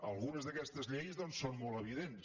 algunes d’aquestes lleis doncs són molt evidents